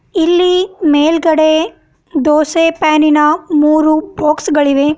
ಇಲ್ಲಿ ಮೇಲ್ಗಡೆ ದೋಸೆ ಪ್ಯಾನ್ ಇನ ಮೂರು ಬಾಕ್ಸ್ ಗಳಿವೆ.